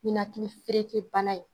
Ninakili fereke bana ye